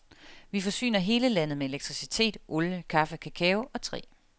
Vi forsyner hele landet med elektricitet, olie, kaffe, kakao og træ.